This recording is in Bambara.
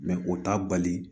o t'a bali